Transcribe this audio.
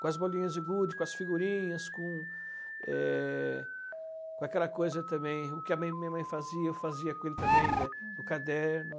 com as bolinhas de gude, com as figurinhas, com é, com aquela coisa também, o que a mãe a minha mãe fazia, eu fazia com ele também, né, o caderno.